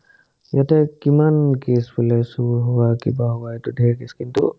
ইয়াতে কিমান কেচ ফলে চোৰ হোৱা কিবা হোৱা এইটো ধেৰ কেচ কিন্তু